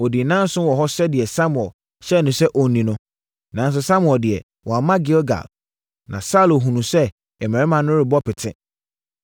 Ɔdii nnanson wɔ hɔ sɛdeɛ Samuel hyɛɛ no sɛ ɔnni no; nanso, Samuel deɛ, wamma Gilgal, na Saulo hunuu sɛ mmarima no rebɔ pete.